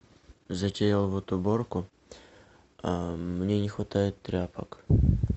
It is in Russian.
затеял вот уборку мне не хватает тряпок